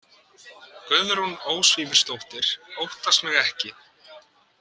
Guðrún Ósvífursdóttir óttast mig ekki.